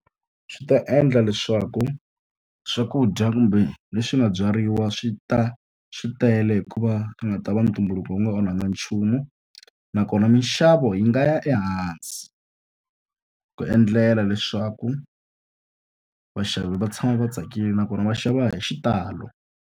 Swi ta endla leswaku swakudya kumbe leswi nga byariwa swi ta swi tele hikuva va nga ta va ntumbuluko wu nga onhakangi nchumu. Nakona minxavo yi nga ya ehansi, ku endlela leswaku vaxavi va tshama va tsakile nakona va xava hi xitalo.